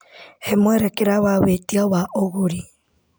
Hee mwerekera wa wĩtia wa ũgũri .